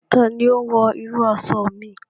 Ta ni ó wọ irú aṣọ mi?